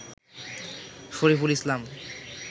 Shariful Islam